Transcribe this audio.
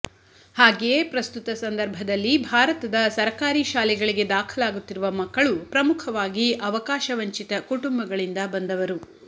ಹಾಗೆಯೇ ಪ್ರಸ್ತುತ ಸಂದರ್ಭದಲ್ಲಿ ಭಾರತದ ಸರಕಾರಿ ಶಾಲೆಗಳಿಗೆ ದಾಖಲಾಗುತ್ತಿರುವ ಮಕ್ಕಲು ಪ್ರಮುಖವಾಗಿ ಅವಕಾಶವಂಚಿತ ಕುಟುಂಬಗಳಿಂದ ಬಂದವರು